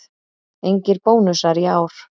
Engir bónusar í ár